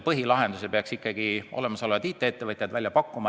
Põhilahenduse peaks ikkagi olemasolevad IT-ettevõtted välja pakkuma.